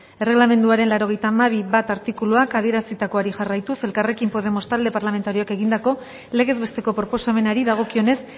erreglamenduaren laurogeita hamabi puntu bat artikuluak adierazitakoari jarraituz elkarrekin podemos talde parlamentarioak egindako legez besteko proposamenari dagokionez